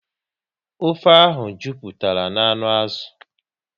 Ofe ahụ jupụtara na anụ n'azụ